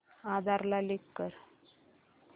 आधार ला लिंक कर